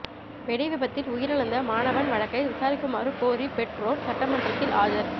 வெடிவிபத்தில் உயிரிழந்த மாணவன் வழக்கை விசாரிக்குமாறு கோரி பெற்றொர் சட்டமன்றத்தில் ஆஜர்